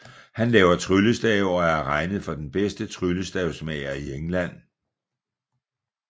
Han laver tryllestave og er regnet for den bedste tryllestavsmager i England